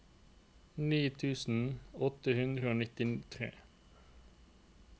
ni tusen åtte hundre og nittitre